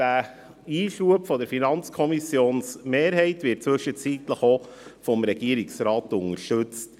Dieser Einschub der FiKo-Mehrheit wird inzwischen auch vom Regierungsrat unterstützt.